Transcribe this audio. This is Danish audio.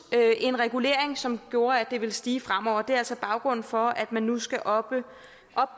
en regulering som gjorde at det ville stige fremover det er altså baggrunden for at man nu skal op